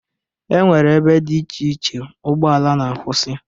Enwere ebe dị iche iche ụgbọala na-akwụsị.